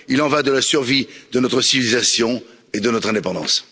Il en va de la survie de notre civilisation et de notre indépendance.